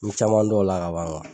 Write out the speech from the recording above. N ye caman dɔn o la ka ban